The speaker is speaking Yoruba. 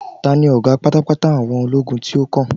ta ni oga patapata àwọn ologun ti o kan